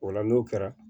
O la n'o kɛra